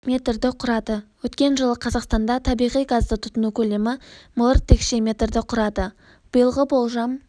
метрді құрады өткен жылы қазақстанда табиғи газды тұтыну көлемі миллиард текше метрді құрады биылғы болжам